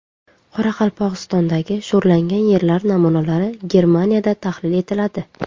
Qoraqalpog‘istondagi sho‘rlangan yerlar namunalari Germaniyada tahlil etiladi.